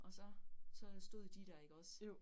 Og så så stod de der ikke også